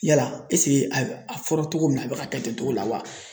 Yala a fɔra togo min na a bɛ ka kɛ ten togo la wa?